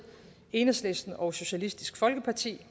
enhedslisten og socialistisk folkeparti